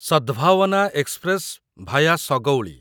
Sadbhavna express via Sagauli